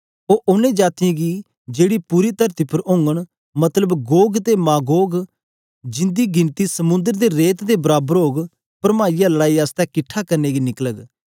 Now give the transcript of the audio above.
ओ ओनें जातीयें गी जेकी पूरी तरती उपर ओगन मतलब गोग ते मागोग गी जिंदी गिनती समुंद्र दे रेत दे बराबर ओग परमाइयै लड़ाई आसतै किटठा करने गी निकलग